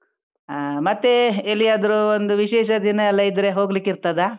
ಹಾ ಮತ್ತೆ ಎಲ್ಲಿಯಾದ್ರೂ ಒಂದು ವಿಶೇಷ ದಿನ ಎಲ್ಲಾ ಇದ್ರೆ ಹೋಗ್ಲಿಕೆ ಇರ್ತದಾ?